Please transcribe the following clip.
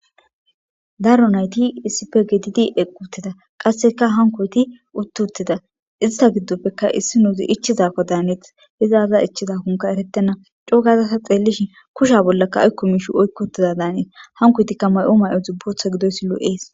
daro nayti issipe gedidi eqqutida qasseka hankoyti uttotida ista giddoppeka issi nuuzi ichizakko daaneeth izaaza ichchizakonka erettena cogazasa xeellishin kusha bollakka aykko mishu oykkotiza daanees hankoytikka may7o may7o dzubbotha gidoysi lo7ees